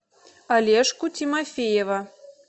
олежку тимофеева